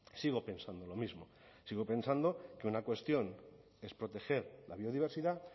sigo pensando lo mismo sigo pensando que una cuestión es proteger la biodiversidad